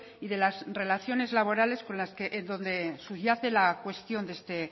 y de las relaciones laborales en donde subyace la cuestión de este